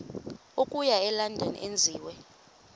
okuya elondon enziwe